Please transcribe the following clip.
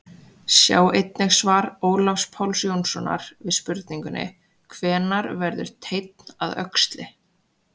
Sjá einnig svar Ólafs Páls Jónssonar við spurningunni Hvenær verður teinn að öxli?